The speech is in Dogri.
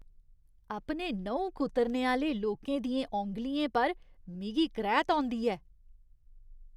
अपने न्हुं कुतरने आह्‌ले लोकें दियें औंगलियें पर मिगी करैह्त औंदी ऐ।